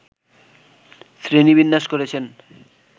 শ্রেণীবিন্যাস করেছেন